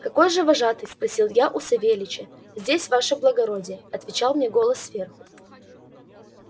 где же вожатый спросил я у савельича здесь ваше благородие отвечал мне голос сверху